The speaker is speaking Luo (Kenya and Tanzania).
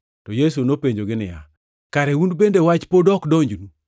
To Yesu nopenjogi niya, “Kare un bende wach pod ok donjnu?